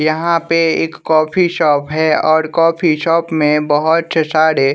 यहाँ पे एक कॉफी शॉप है और कॉफी शॉप में बहोत से सारे--